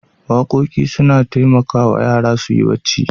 Waƙoƙi suna taimakawa yara su yi bacci.